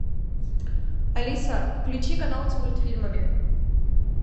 алиса включи канал с мультфильмами